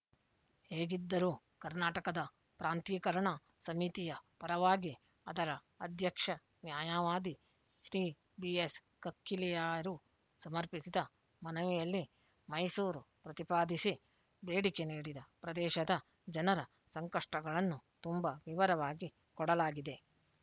ಹೇಗಿದ್ದರೂ ಕರ್ನಾಟಕದ ಪ್ರಾಂತೀಕರಣ ಸಮಿತಿಯ ಪರವಾಗಿ ಅದರ ಅಧ್ಯಕ್ಷ ನ್ಯಾಯವಾದಿ ಶ್ರೀ ಬಿಎಸ್ ಕಕ್ಕಿಲ್ಲಾಯರು ಸಮರ್ಪಿಸಿದ ಮನವಿಯಲ್ಲಿ ಮೈಸೂರು ಪ್ರತಿಪಾದಿಸಿ ಬೇಡಿಕೆ ನೀಡಿದ ಪ್ರದೇಶದ ಜನರ ಸಂಕಷ್ಟಗಳನ್ನು ತುಂಬ ವಿವರವಾಗಿ ಕೊಡಲಾಗಿದೆ